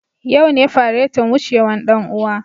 Yau ne faretin wucewan dan uwa.